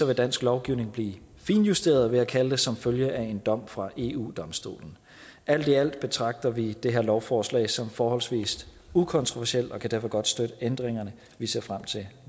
vil dansk lovgivning blive finjusteret vil jeg kalde det som følge af en dom fra eu domstolen alt i alt betragter vi det her lovforslag som forholdsvis ukontroversielt og kan derfor godt støtte ændringerne vi ser frem til